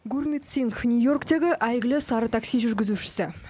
гурмит сингх нью йорктегі әйгілі сары такси жүргізушісі